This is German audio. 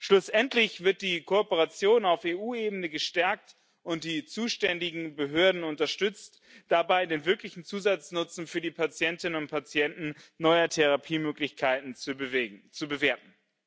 Schlussendlich wird die Kooperation auf EU Ebene gestärkt und die zuständigen Behörden werden dabei unterstützt, den wirklichen Zusatznutzen für die Patientinnen und Patienten neuer Therapiemöglichkeiten zu bewerten.